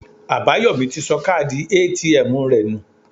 Àbáyòmí ti sọ káàdì ATM rẹ̀ nù